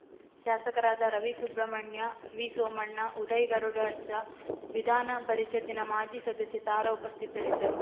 ಶಾಸಕರಾದ ರವಿಸುಬ್ರಹ್ಮಣ್ಯ ವಿಸೋಮಣ್ಣ ಉದಯ್‌ ಗರುಡಾರ್ಚ ವಿಧಾನ ಪರಿಷತ್ತಿನ ಮಾಜಿ ಸದಸ್ಯೆ ತಾರಾ ಉಪಸ್ಥಿತರಿದ್ದರು